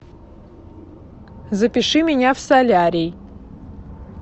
запиши меня в солярий